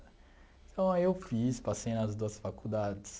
Então, aí eu fiz, passei nas duas faculdades.